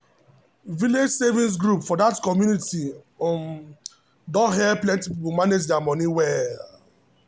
village savings group for that community um don help plenty people manage their money well.